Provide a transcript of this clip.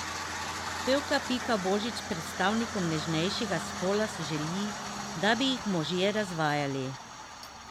Pevka Pika Božič predstavnicam nežnejšega spola želi, da bi jih možje razvajali.